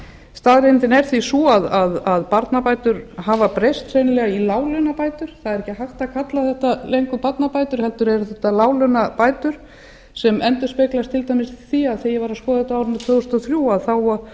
staðreyndin er því sú að barnabætur hafa breyst sennilega í láglaunabætur það er ekki hægt að kalla þetta lengur barnabætur heldur eru þetta láglaunabætur sem endurspeglast til dæmis í því að þegar ég var að skoða þetta á árinu tvö þúsund og þrjú